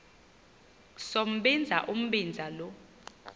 sombinza umbinza lo